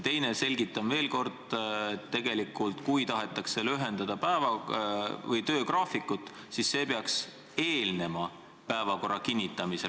Teiseks see, selgitan veel kord, et kui tahetakse lühendada töögraafikut, siis see peaks eelnema päevakorra kinnitamisele.